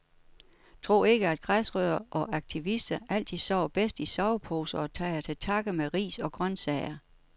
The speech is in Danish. Tro ikke, at græsrødder og aktivister altid sover bedst i sovepose og tager til takke med ris og grøntsager.